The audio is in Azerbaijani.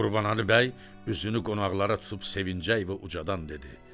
Qurbanəli bəy üzünü qonaqlara tutub sevinclə və ucadan dedi: